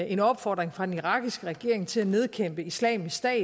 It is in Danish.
en opfordring fra den irakiske regering til at nedkæmpe islamisk stat